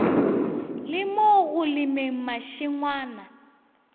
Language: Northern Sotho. le mo go lemeng mašengwana